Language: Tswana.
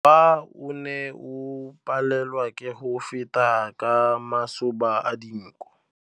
Mowa o ne o palelwa ke go feta ka masoba a dinko.